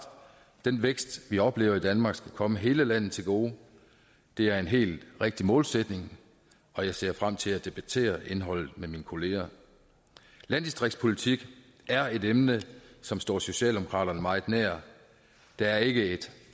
den vækst vi oplever i danmark skal komme hele landet til gode det er en helt rigtig målsætning og jeg ser frem til at debattere indholdet med mine kolleger landdistriktspolitik er et emne som står socialdemokraterne meget nær der er ikke